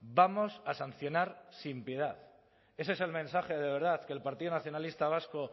vamos a sancionar sin piedad ese es el mensaje de verdad que el partido nacionalista vasco